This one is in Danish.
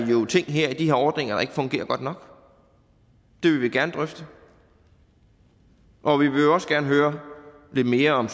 jo er ting i de her ordninger der ikke fungerer godt nok det vil vi gerne drøfte og vi vil også gerne høre lidt mere om